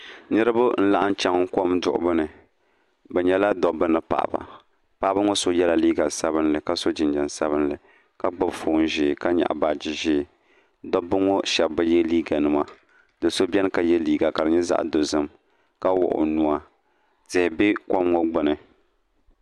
Niriba n-laɣim chan kom duɣibu ni bɛ nyɛla dɔbba ni paɣiba paɣiba ŋɔ so yɛla liiga sabilinli ka so jinjam sabilinli ka gbubi foon ʒee ka nyaɣi baaji ʒee dɔbba ŋɔ shɛba bi ye liiganima do' so beni ka ye liiga ka di nyɛ zaɣ' dozim ka wuɣi o nuu tihi be kom ŋɔ gbuni